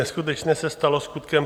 Neskutečné se stalo skutkem.